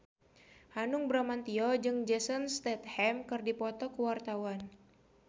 Hanung Bramantyo jeung Jason Statham keur dipoto ku wartawan